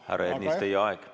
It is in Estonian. Härra Ernits, teie aeg!